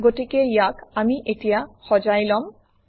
গতিকে ইয়াক আমি এতিয়া সজাই লম